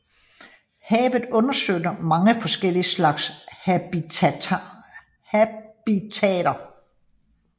Havet understøtter mange forskellige slags habitater